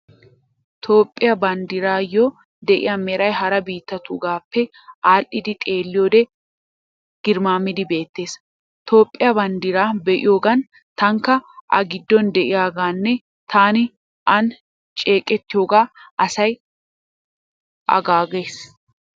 Toophphiyaa banddiraayyoo de'iyaa meray hara biittatuugaappe aadhdhidi xeelliyoode garmmaamidi beettees. Toophphiyaa banddiraa be'iyoogan taanikka A giddon de'iyoogaanne taani aani ceeqettiyoogaa hassaya aggaas.